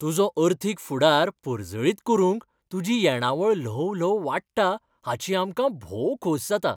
तुजा अर्थीक फुडार पर्जळीत करूंक तुजी येणावळ ल्हव ल्हव वाडटा हाची आमकां भोव खोसा जाता !